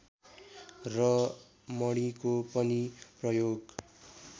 र मणिको पनि प्रयोग